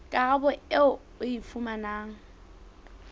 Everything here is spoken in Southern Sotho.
karabo eo o e fumanang